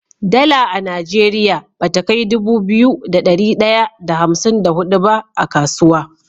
Dala a nigeria bata kai Dubu biyu da dari daya da hamsin da hudu ba a kasuwa